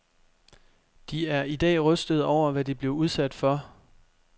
De er i dag rystede over, hvad de blev udsat for.